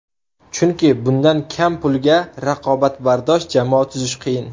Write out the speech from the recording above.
Chunki bundan kam pulga raqobatbardosh jamoa tuzish qiyin.